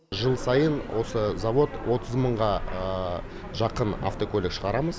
жыл сайын осы завод отыз мыңға жақын автокөлік шығарамыз